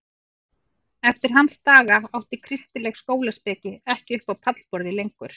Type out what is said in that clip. Eftir hans daga átti kristileg skólaspeki ekki upp á pallborðið lengur.